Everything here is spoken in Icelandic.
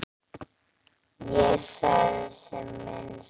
Ég sagði sem minnst.